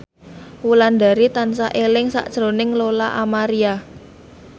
Wulandari tansah eling sakjroning Lola Amaria